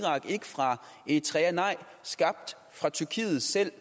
eritrea nej skabt af tyrkiet selv